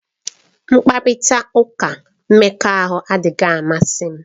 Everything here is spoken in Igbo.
Mkparịta ụka mmekọahụ adịghị amasị m.